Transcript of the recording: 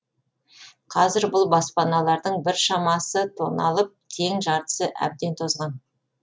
қазір бұл баспаналардың біршамасы тоналып тең жартысы әбден тозған